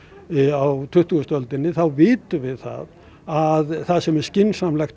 á tuttugustu öldinni þá vitum við það að það sem skynsamlegast